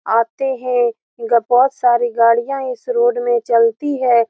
आते हैं ग बहुत सारी गाड़ियां इस रोड में चलती है।